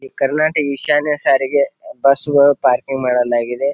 ಈ ಕರ್ನಾಟಕ ಈಶಾನ್ಯ ಸಾರಿಗೆ ಬಸ್ ಗಳು ಪಾರ್ಕಿಂಗ್ ಮಾಡಲಾಗಿದೆ.